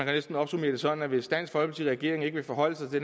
næsten opsummere det sådan at hvis dansk folkeparti og regeringen ikke vil forholde sig til